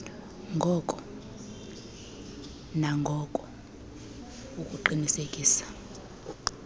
ngoko nangoko ukuqinisekisa